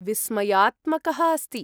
विस्मयात्मकः अस्ति।